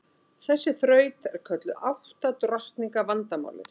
Þessi þraut er kölluð átta drottninga vandamálið.